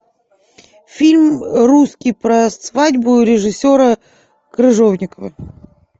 фильм русский про свадьбу режиссера крыжовникова